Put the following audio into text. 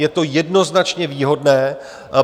Je to jednoznačně výhodné.